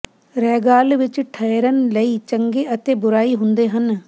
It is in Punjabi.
ਰੈਗਾਲ ਵਿਚ ਠਹਿਰਨ ਲਈ ਚੰਗੇ ਅਤੇ ਬੁਰਾਈ ਹੁੰਦੇ ਹਨ